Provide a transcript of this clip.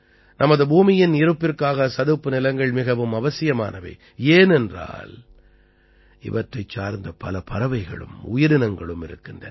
நமது பூமியின் இருப்பிற்காக சதுப்புநிலங்கள் மிகவும் அவசியமானவை ஏனென்றால் இவற்றைச் சார்ந்த பல பறவைகளும் உயிரினங்களும் இருக்கின்றன